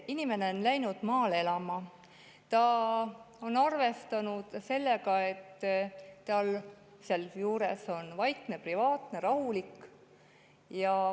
Inimene on läinud maale elama, ta on arvestanud sellega, et seal on vaikne, privaatne, rahulik.